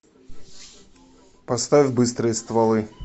поставь быстрые стволы